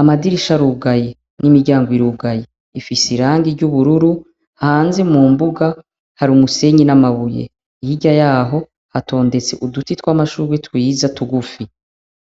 amadirisha arugaye n'imiryango irugaye ifise irangi ry'ubururu hanze mu mbuga hari umusenyi n'amabuye ihirya yaho hatondetse uduti tw'amashuri twiza tugufi.